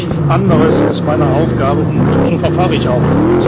Nichts anderes ist meine Aufgabe, und so verfahre ich auch.